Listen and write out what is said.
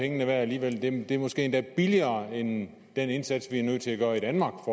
pengene værd alligevel det er måske endda billigere end den indsats vi er nødt til at gøre i danmark